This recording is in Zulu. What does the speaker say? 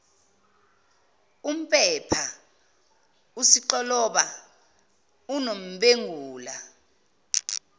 umpepha usixoloba unombengula